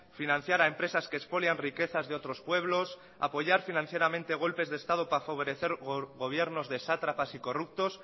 financiar a empresas que expolian riquezas de otros pueblos apoyar financieramente golpes de estado para favorecer gobiernos de sátrapas y corruptos